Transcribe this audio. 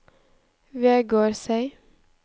Vegårshei